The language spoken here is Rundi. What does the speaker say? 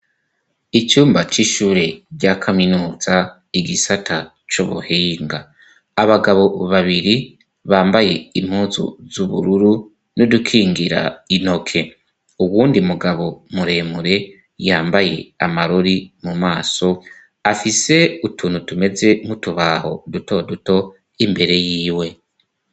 icumba c'ishure rya kaminuza igisata cubuhinga abagabo babiri bambaye impuzu z'ubururu n'idukingira intoke uwundi mugabo muremure yambaye amarori mu maso afise utuntu tumeze nkutubaho duto duto imbere yiwe